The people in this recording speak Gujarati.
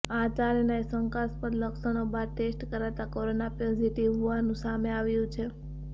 આ ચારેયના શંકાસ્પદ લક્ષણો બાદ ટેસ્ટ કરાતા કોરોના પોઝીટીવ હોવાનું સામે આવ્યું છે